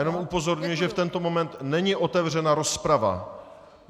Jenom upozorňuji, že v tento moment není otevřena rozprava.